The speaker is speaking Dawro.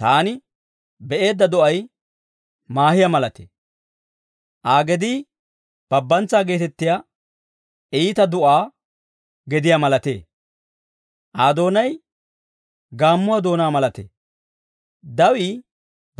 Taani be'eedda do'ay maahiyaa malatee; Aa gedii babbantsaa geetettiyaa iita du'aa gediyaa malatee; Aa doonay gaammuwaa doonaa malatee. Dawii